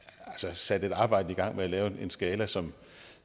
sat et arbejde i gang med at lave en skala som